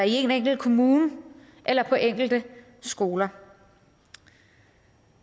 en enkelt kommune eller på enkelte skoler